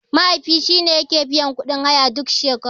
Mahaifi shine yake biyan kuɗin haya duk shekara.